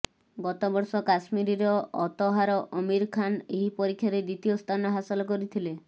ଗତବର୍ଷ କାଶ୍ମୀରର ଅତହାର ଅମିର ଖାନ ଏହି ପରୀକ୍ଷାରେ ଦ୍ୱିତୀୟ ସ୍ଥାନ ହାସଲ କରିଥିଲେ